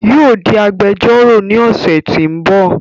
Yóò di agbẹjọ́rọ̀ ní ọ̀sẹ̀ tí ń bò